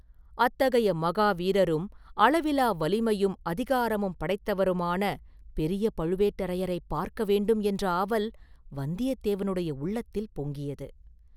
அத்தகைய மகா வீரரும் அளவிலா வலிமையும் அதிகாரமும் படைத்தவருமான, பெரிய பழுவேட்டரையரைப் பார்க்க வேண்டும் என்ற ஆவல் வந்தியத்தேவனுடைய உள்ளத்தில் பொங்கியது.